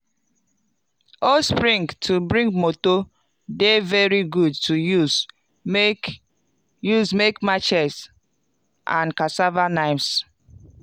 old spring to big motor dey very good to use make use make machetes and cassava knives.